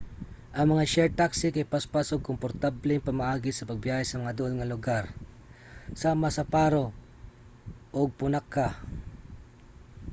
ang mga shared taxi kay paspas ug komportableng pamaagi sa pagbiyahe sa mga duol nga lugar sama sa paro nu 150 ug punakha nu 200